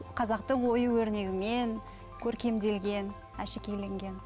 қазақтың ою өрнегімен көркемделген әшекейленген